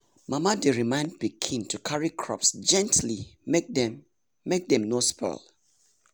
mama dey remind pikin to carry crops gently make make dem no spoil.